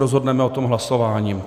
Rozhodneme o tom hlasováním.